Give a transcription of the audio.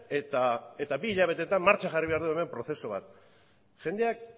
eta bi hilabetetan martxan jarri behar dugu hemen prozesu bat jendeak